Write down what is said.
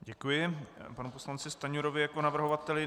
Děkuji panu poslanci Stanjurovi jako navrhovateli.